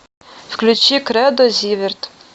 включи кредо зиверт